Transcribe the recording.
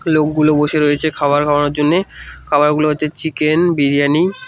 লোকগুলো বসে রয়েছে খাবার খাওয়ানোর জন্যে খাবারগুলো হচ্ছে চিকেন বিরিয়ানি ।